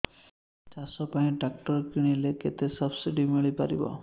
ଚାଷ ପାଇଁ ଟ୍ରାକ୍ଟର କିଣିଲେ କେତେ ସବ୍ସିଡି ମିଳିପାରିବ